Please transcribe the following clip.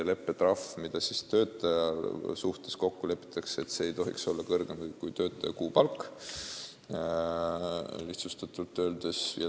Leppetrahv, mis töötaja suhtes kokku lepitakse, ei tohiks olla kõrgem kui töötaja kuupalk, lihtsustatult öeldes.